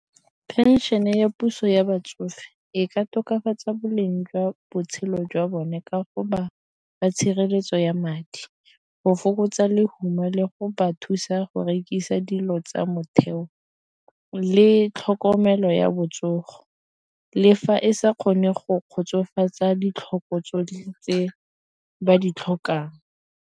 Phenšene e ya puso ya batsofe e ka tokafatsa boleng jwa botshelo jwa bone ka go ba ba tshireletso ya madi, go fokotsa lehuma le go ba thusa gore rekisa dilo tsa motheo le tlhokomelo ya botsogo le fa e sa kgone go kgotsofatsa ditlhoko tsotlhe tse ba di tlhokang.